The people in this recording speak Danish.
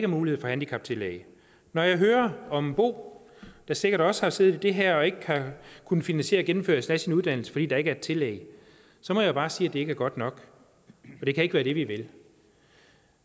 mulighed for handicaptillæg når jeg hører om bo der sikkert også har siddet i det her og ikke har kunnet finansiere gennemførelsen af sin uddannelse fordi der ikke er et tillæg så må jeg bare sige at det ikke er godt nok det kan ikke være det vi vil